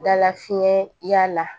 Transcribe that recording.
Dala fiɲɛ y'a la